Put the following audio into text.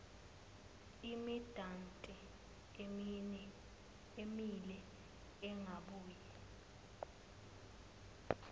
imidanti emile ingabuye